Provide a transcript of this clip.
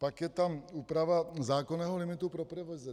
Pak je tam úprava zákonného limitu pro provize.